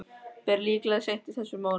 Ber líklega seint í þessum mánuði.